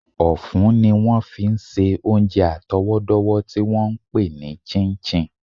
Ọ̀fun ni wọ́n fi ń ṣe oúnjẹ àtọwọ́dọ́wọ́ tí wọ́n ń pè ní chin chin